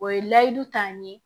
O ye layidu ta n ye